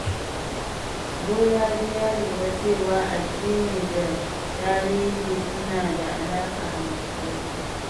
Bolaji ya lura cewa addini da tarihi suna da alaƙa mai ƙarfi.